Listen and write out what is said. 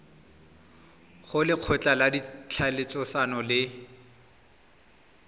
go lekgotla la ditlhaeletsano le